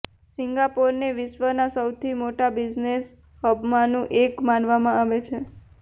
સિંગાપોરને વિશ્વના સૌથી મોટા બિઝનેસ હબમાંનું એક માનવામાં આવે છે